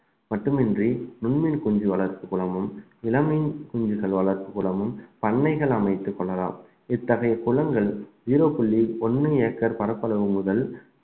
மட்டுமின்றி நுண்மீன் குஞ்சு வளர்ப்பு குளமும் இளமீன் குஞ்சுகள் வளர்ப்பு குளமும் பண்ணைகள் அமைத்துக் கொள்ளலாம் இத்தகைய குளங்கள் ஜீரோ புள்ளி ஒண்ணு ஏக்கர் பரப்பளவு முதல்